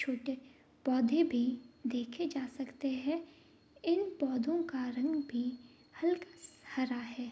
छोटे पौधे भी देखे जा सकते हैं इन पोधो का रंग भी हल्का सा हरा है।